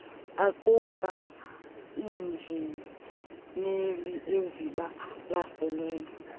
aquka iinjineli ezibalaseleyo